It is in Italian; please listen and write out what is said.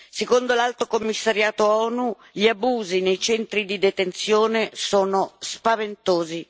Secondo l'Alto commissariato ONU, gli abusi nei centri di detenzione sono spaventosi.